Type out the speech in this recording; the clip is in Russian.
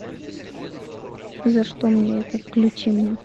за что мне это включи мне